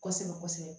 Kosɛbɛ kosɛbɛ